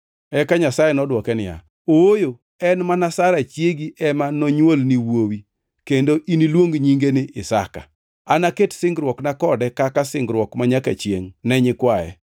Eka Nyasaye nodwoke niya, “Ooyo, en mana Sara chiegi ema nonywolni wuowi, kendo iniluong nyinge ni Isaka. Anaket singruokna kode kaka singruok manyaka chiengʼ ne nyikwaye.